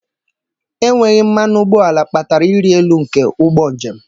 Enweghị mmanụ ụgbọala kpatara ịrị elu nke ụgbọ njem.